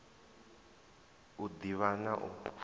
u d ivha na u